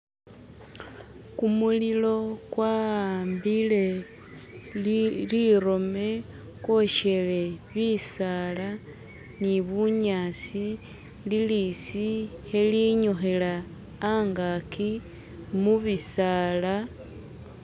Kumulilo kwahambile li lirome kwoshele bisaala ni bunyasi lilisi khelinyukhila hangaki mubisaala